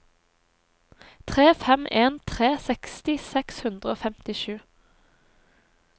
tre fem en tre seksti seks hundre og femtisju